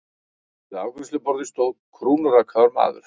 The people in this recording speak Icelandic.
Við afgreiðsluborðið stóð krúnurakaður maður.